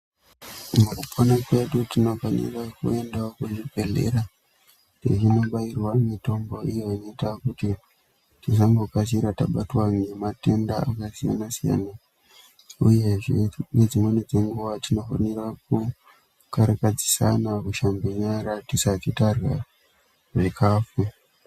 Kumakanyi kwedu tinofanira kuendawo kuzvibhedhlera teinobairwa mitombo iyo inoita kuti tisambokasira tabatwa ngematenda akasiyana-siyana, uyezve dzimweni dzenguwa tinofana kukarakadzisana kushambe nyara tisati tarya zvikhafu.